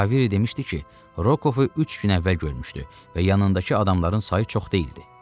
Kaviri demişdi ki, Rokovu üç gün əvvəl görmüşdü və yanındakı adamların sayı çox deyildi.